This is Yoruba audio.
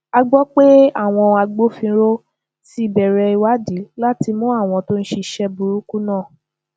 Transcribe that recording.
a gbọ pé àwọn agbófinró ti bẹrẹ ìwádìí láti mú àwọn tó ṣiṣẹ burúkú náà